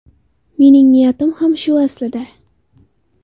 Mening niyatim ham shu aslida.